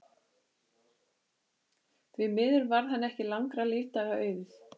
Því miður varð henni ekki langra lífdaga auðið.